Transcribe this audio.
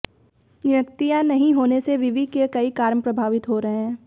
नियुक्तियां नहीं होने से विवि के कई काम प्रभावित हो रहे हैं